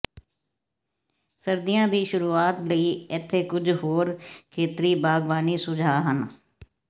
ਸਰਦੀਆਂ ਦੀ ਸ਼ੁਰੂਆਤ ਲਈ ਇੱਥੇ ਕੁਝ ਹੋਰ ਖੇਤਰੀ ਬਾਗ਼ਬਾਨੀ ਸੁਝਾਅ ਹਨ